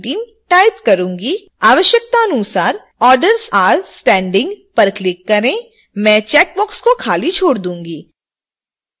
आवश्यकतानुसार orders are standing पर click करें मैं चैकबॉक्स को खाली छोड़ दूंगी